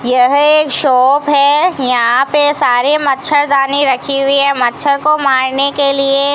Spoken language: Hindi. यह एक शॉप है यहां पे सारे मच्छरदानी रखी हुई है मच्छर को मारने के लिए --